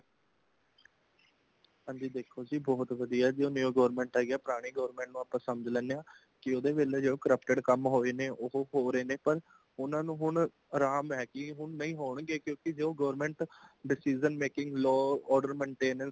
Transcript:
ਹਾਂਜੀ ਦੇਖੋ ਜੀਂ , ਬਹੁਤ ਵਧਿਆ ਜੀ ,ਜੋ New Government ਆਈ ਹੈ | ਪੁਰਾਣੀ Government ਨੂੰ ਅਸੀਂ ਸਮਝ ਲੈਂਦੇ ਹਾ | ਕਿ ਓਹਦੇ ਵੇਲੇ ਜੋ corrupted ਕਾਮ ਹੋਏ ਨੇ ਉਹ ਹੋ ਰਹੇ ਨੇ ਪਰ ਊਨਾ ਨੂੰ ਹੁਣ ਅਰਾਮ ਹੇ, ਕਿ ਹੋਣ ਨਹੀਂ ਹੋਣਗੇ ,ਕਿਉਂਕਿ ਜੋ government decision making law order maintenance ਕਰ ਰਹੀ ਹੈ।